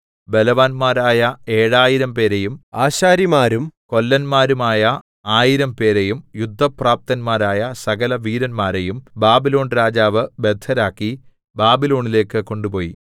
ബലവാന്മാരായ ഏഴായിരംപേരെയും ആശാരിമാരും കൊല്ലന്മാരുമായ ആയിരം പേരെയും യുദ്ധപ്രാപ്തന്മാരായ സകലവീരന്മാരെയും ബാബിലോൺരാജാവ് ബദ്ധരാക്കി ബാബിലോണിലേക്ക് കൊണ്ടുപോയി